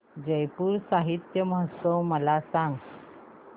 जयपुर साहित्य महोत्सव मला सांग